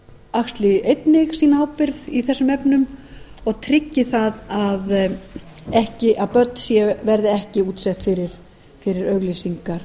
axli einnig sína ábyrgð í þessum efnum og tryggi það að börn séu ekki útsett fyrir auglýsingar